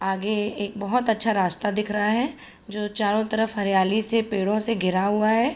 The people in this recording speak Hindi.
आगे एक बहुत अच्छा रास्ता दिख रहा है जो चोरों तरफ हरीयाली से पेड़ों से घिरा हुआ है।